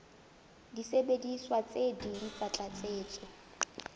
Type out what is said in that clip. disebediswa tse ding tsa tlatsetso